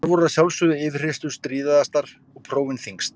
Þar voru að sjálfsögðu yfirheyrslur stríðastar og prófin þyngst.